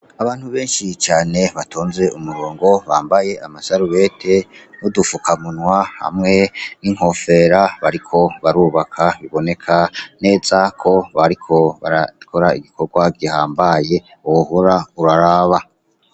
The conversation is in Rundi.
Abantu benshi cane batonze umurongo, bambaye amasarubete n'udukamunwa hamwe n'inkofera bariko barubaka. Biboneka neza ko bariko barakora igikorwa gihambaye, wohora uraraba.